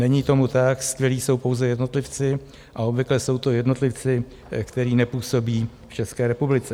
- Není tomu tak, skvělí jsou pouze jednotlivci a obvykle jsou to jednotlivci, kteří nepůsobí v České republice.